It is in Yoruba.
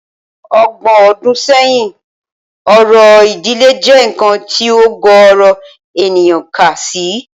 Ọgbọ̀n ọdún sẹ́yìn, orò ìdílé jẹ́ nǹkan tí ọ̀gọ̀ọ̀rọ̀ ènìyàn kà sí